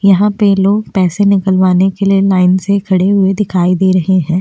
यहाँ पे लोग पैसे निकलवाने के लिए लाइन से खड़े हुए दिखाई दे रहे है।